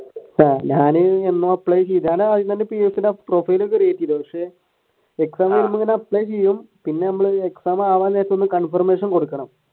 ആഹ് ഞാൻ profilecreate ചെയ്തു പക്ഷെ exam കഴിയുമ്പോ ഇങ്ങനെ apply ചെയ്യും പിന്നെ ഞമ്മള് exam ആവാൻ വേണ്ടീട്ട് ഒരു conformation കൊടുക്കണം.